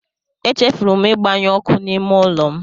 Echefuru m ịgbanyụ ọkụ n'ime ụlọ m.